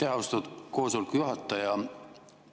Aitäh, austatud koosoleku juhataja!